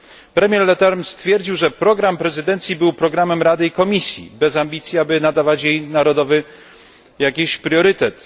Premier Leterme stwierdził, że program prezydencji był programem Rady i Komisji, bez ambicji, aby nadawać jej jakiś narodowy priorytet.